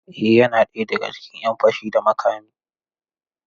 Eh yana ɗaya daga cikin ‘yan fashi da makami.